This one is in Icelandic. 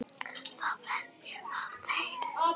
Þá verð ég við þeim.